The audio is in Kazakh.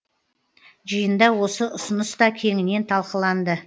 жиында осы ұсыныс та кеңінен талқыланды